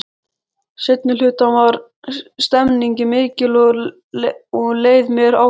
Seinni hlutann var stemningin mikil og leið mér ágætlega.